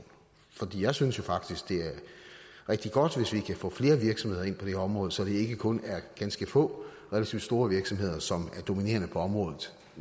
jeg synes jo faktisk det er rigtig godt hvis vi kan få flere virksomheder ind på det her område så det ikke kun er ganske få relativt store virksomheder som er dominerende på området